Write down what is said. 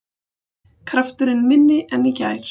Krafturinn minni en í gær